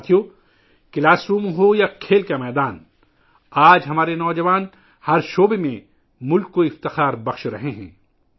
ساتھیو ، classroom ہو یا کھیل کا میدان، آج ہمارے نوجوان ہر میدان میں ملک کا سر فخر سے بلند کر رہے ہیں